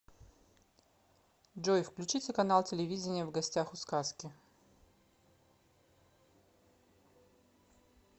джой включите канал телевидения в гостях у сказки